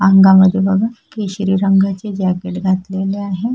अंगा मध्ये बघा केशरी रंगाचे जॅकेट घातलेले आहे.